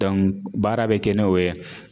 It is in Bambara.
baara bɛ kɛ n'o ye.